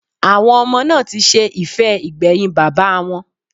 Àwọn ọmọ náà ti ṣe ìfẹ́ ìgbẹ̀yìn bàbáa wọn.